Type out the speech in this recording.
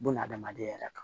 Buna adamaden yɛrɛ kan